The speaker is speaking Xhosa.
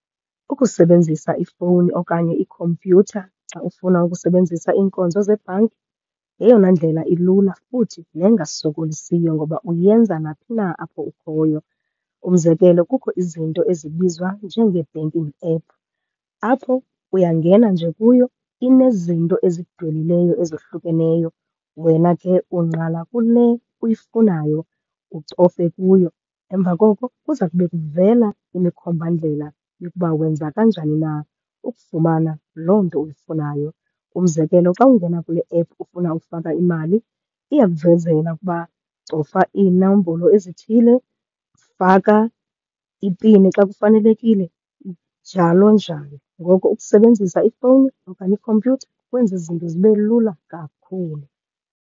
Ukusebenzisa ifowuni okanye ikhompyutha xa ufuna ukusebenzisa iinkonzo zebhanki yeyona ndlela ilula, futhi nengasokolisiyo ngoba uyenza naphi na apho ukhoyo. Umzekelo kukho izinto ezibizwa njengee-banking app, apho uyangena nje kuyo, inezinto ezidwelileyo ezohlukeneyo. Wena ke ungqala kule uyifunayo, ucofe kuyo. Emva koko kuza kube kuvela imikhombandlela yokuba wenza kanjani na ukufumana loo nto uyifunayo. Umzekelo xa ungena kule -app ufuna ufaka imali, iyakuvezela ukuba cofa iinombolo ezithile, faka ipini xa kufanelekile, njalo njalo. Ngoko ukusebenzisa ifowuni okanye ikhompyutha kwenza izinto zibe lula kakhulu.